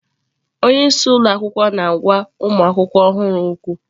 Onye isi ụlọ akwụkwọ na-agwa ụmụ akwụkwọ ọhụrụ okwu.